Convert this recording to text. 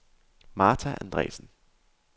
Martha Andresen